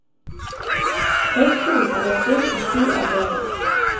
Høgskolen er delt inn i sju avdelinger.